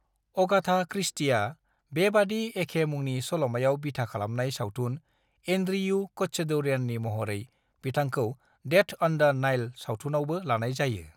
Agatha क्रिस्टीआ बेबादि एखे मुंनि सल'मायाव बिथा खालामनाय सावथुन एन्ड्रियु कच्छदौरियाननि महरै बिथांखौ डेथ अन द नाइल सावथुनावबो लानाय जायो।